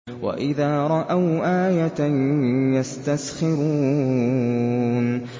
وَإِذَا رَأَوْا آيَةً يَسْتَسْخِرُونَ